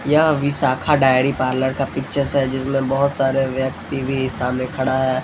यह Visakha dairy parlour का pictures है जिसमें बहुत सारे व्यक्ति भी सामने खड़ा है।